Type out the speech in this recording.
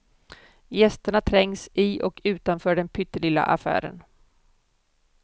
Gästerna trängs i och utanför den pyttelilla affären.